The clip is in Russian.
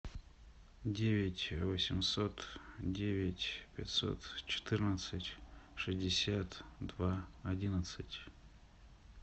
девять восемьсот девять пятьсот четырнадцать шестьдесят два одиннадцать